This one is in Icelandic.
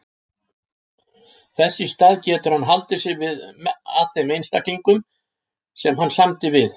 Þess í stað getur hann haldið sig að þeim einstaklingum sem hann samdi við.